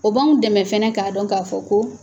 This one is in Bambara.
O b'an dɛmɛ fɛnɛ k'a dɔn k'a fɔ ko